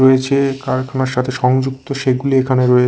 রয়েছে কারখানার সাথে সংযুক্ত সেগুলোও এখানে রয়েছে।